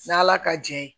N'ala ka jɛ ye